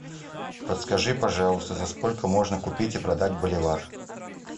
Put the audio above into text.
подскажи пожалуйста за сколько можно купить и продать боливар